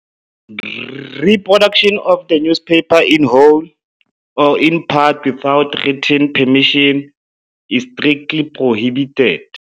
Reproduction of the newspaper in whole or in part without written permission is strictly prohibited.